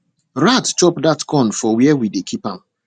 rat chop that corn for where we dey keep am